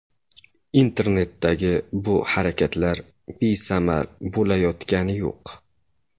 Internetdagi bu harakatlar besamar bo‘layotgani yo‘q.